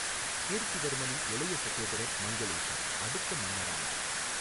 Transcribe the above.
கீர்த்திவர்மனின் இளைய சகோதரர் மங்களேஷா அடுத்த மன்னரானார்.